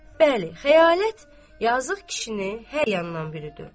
Bəli, xəyalət yazıq kişini hər yandan bürüdü.